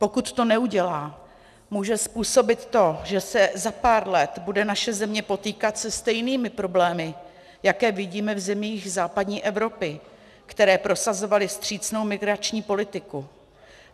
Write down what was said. Pokud to neudělá, může způsobit to, že se za pár let bude naše země potýkat se stejnými problémy, jaké vidíme v zemích západní Evropy, které prosazovaly vstřícnou migrační politiku.